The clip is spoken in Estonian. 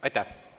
Aitäh!